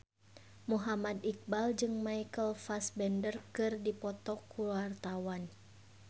Muhammad Iqbal jeung Michael Fassbender keur dipoto ku wartawan